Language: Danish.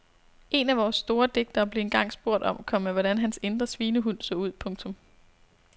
En af vores store digtere blev engang spurgt om, komma hvordan hans indre svinehund så ud. punktum